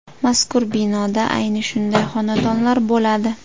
Mazkur binoda ayni shunday xonadonlar bo‘ladi.